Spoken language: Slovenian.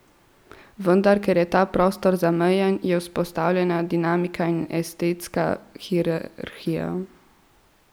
Vendar ker je ta prostor zamejen, je vzpostavljena dinamika in estetska hierarhija.